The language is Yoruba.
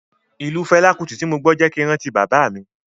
Ìlù Fẹlá Kúti tí mo gbọ́ jẹ́ kin rántí bàbá mi.